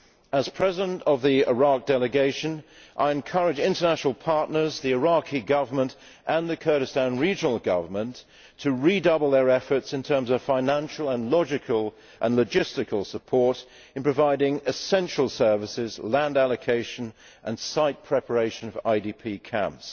As President of the Iraq delegation, I encourage international partners, the Iraqi government and the Kurdistan regional government to redouble their efforts in terms of financial and logistical support in providing essential services, land allocation and site preparation for IDP camps.